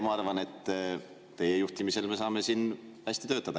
Ma arvan, et teie juhtimisel me saame siin hästi töötada.